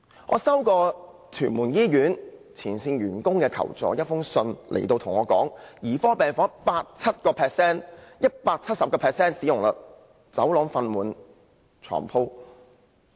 我曾接獲屯門醫院前線員工的求助信，他們指兒科病房的使用率高達 170%， 走廊放滿病床。